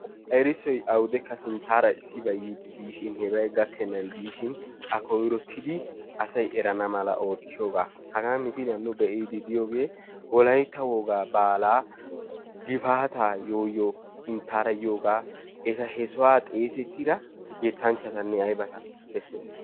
errissoy awudekka sinttaara issibay yiidi de'iishin heebay gakkenan diishin a koyroottidi asay erana mala oottiyoobaa. Hagan misiliyaan nu be'iyoogee wollaytta wogaab baalaa gifaataa yooyoo giyoogaa. Eta he sohuwaa xeessettida yettanchatanne aybatta beessees.